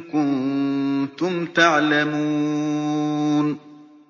كُنتُمْ تَعْلَمُونَ